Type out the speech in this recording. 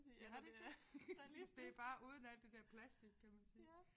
Ja er det ikke det? Det bare uden alt det der plastik kan man sige